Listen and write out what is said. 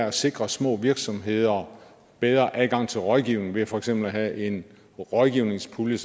at sikre små virksomheder bedre adgang til rådgivning ved for eksempel at have en rådgivningspulje